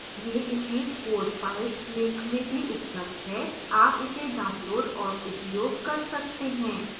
यह image code files link में भी उपलब्ध है आप इसे download और उपयोग कर सकते हैं